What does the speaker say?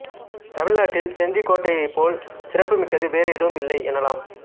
தமிழ்நாட்டில் செஞ்சி கோட்டையைப்போல் சிறப்பு மிக்கது வேறு எதுவும் இல்லை எனலாம்